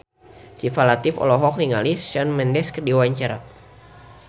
Syifa Latief olohok ningali Shawn Mendes keur diwawancara